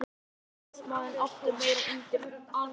Ræðismaðurinn átti hér meira undir sér en Alþýðublaðið hafði ætlað.